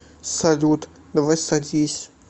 салют давай садись